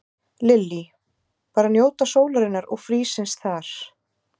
Lillý: Bara njóta sólarinnar og frísins þar?